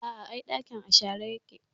A a, ai ɗakin a share yake.